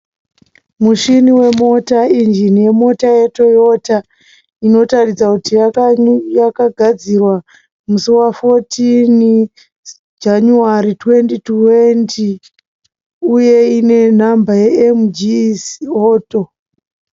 Mushini wemota, injini yemota yeToyota. Inotaridza kuti yakagadzirwa musi wa14 Janyuwari 2020. Uye ine nhamba yeM-G auto.